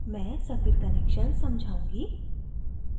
मैं circuit connections समझाऊँगी